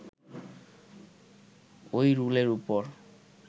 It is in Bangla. ওই রুলের ওপর